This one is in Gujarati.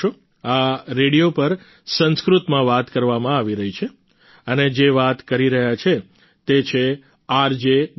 આ રેડિયો પર સંસ્કૃતમાં વાત કરવામાં આવી રહી છે અને જે વાત કરી રહ્યા છે તે છે આરજે ગંગા